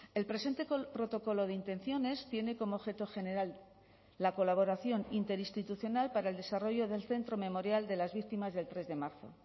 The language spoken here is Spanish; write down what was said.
el presente protocolo de intenciones tiene como objeto general la colaboración interinstitucional para el desarrollo del centro memorial de las víctimas del tres de marzo